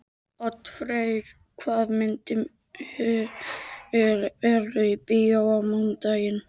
Oddfreyr, hvaða myndir eru í bíó á mánudaginn?